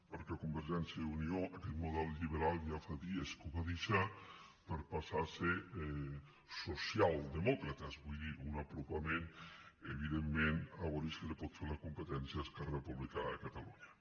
perquè convergència i unió aquest model lliberal ja fa dies que el va deixar per passar se al socialdemòcrata vull dir un apropament evidentment a veure si li pot fer la competència a esquerra republicana de catalunya